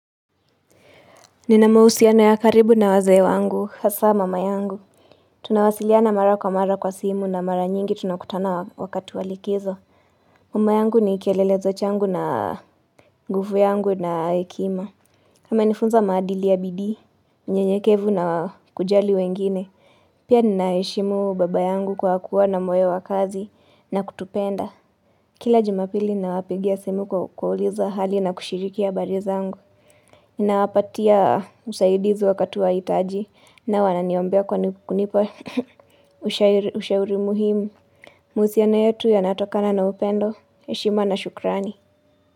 Nina mausiano ya karibu na wazee wangu hasa mama yangu Tunawasiliana mara kwa mara kwa simu na mara nyingi tunakutana wakati wa likizo Mama yangu ni kielelezo changu na nguvu yangu na hekima. Amenifunza maadili ya bidii, unyenyekevu na kujali wengine Pia ninaheshimu baba yangu kwa kuwa na moyo wa kazi na kutupenda Kila jumapili ninawapigia simu kwa kuwauliza hali na kushiriki habari zangu Nawapatia usaidizi wakati wa itaji nao wananiombea kwa kunipa ushauri muhimu. Mahusiano yetu yanatokana na upendo. Heshima na shukrani.